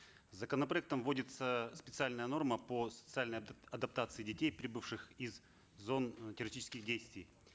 законопроектом вводится специальная норма по социальной адаптации детей прибывших из зон террористических действий